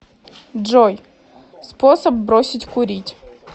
джой способ бросить курить